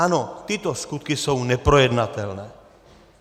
Ano, tyto skutky jsou neprojednatelné.